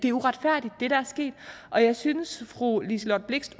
er uretfærdigt og jeg synes fru liselott blixt